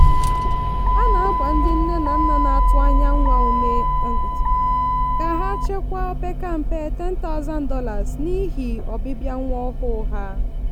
a na-agba ndị nne na nna na-atụ anya nwa ume ka ha chekwaa o opeka mpe $10000 n'ihi ọbịbịa nwa ọhụụ ha.